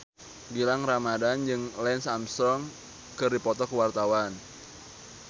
Gilang Ramadan jeung Lance Armstrong keur dipoto ku wartawan